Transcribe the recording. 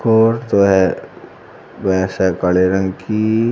और जो है भैंसे काले रंग कि--